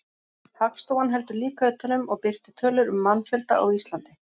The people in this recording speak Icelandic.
Hagstofan heldur líka utan um og birtir tölur um mannfjölda á Íslandi.